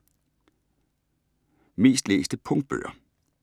Mest læste Punktbøger